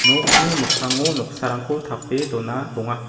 nokni mikkango noksarangko tape dona donga.